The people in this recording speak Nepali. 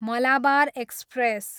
मलाबार एक्सप्रेस